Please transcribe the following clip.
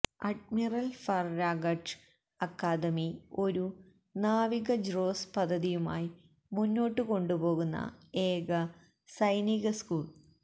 admiral Farragut academy ഒരു നാവിക ജ്രോസ് പദ്ധതിയുമായി മുന്നോട്ടു കൊണ്ടുപോകുന്ന ഏക സൈനിക സ്കൂൾ